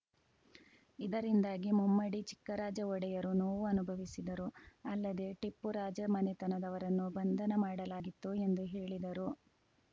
ಇದರಿಂದಾಗಿ ಮುಮ್ಮಡಿ ಚಿಕ್ಕರಾಜ ಒಡೆಯರು ನೋವು ಅನುಭವಿಸಿದರು ಅಲ್ಲದೇ ಟಿಪ್ಪು ರಾಜಮನೆತನದವರನ್ನು ಬಂಧನ ಮಾಡಲಾಗಿತ್ತು ಎಂದು ಹೇಳಿದರು